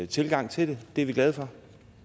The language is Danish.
tilgang til det det er vi glade for